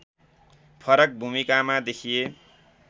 फरक भूमिकामा देखिए